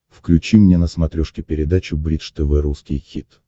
включи мне на смотрешке передачу бридж тв русский хит